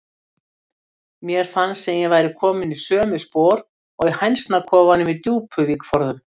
Mér fannst sem ég væri komin í sömu spor og í hænsnakofanum í Djúpuvík forðum.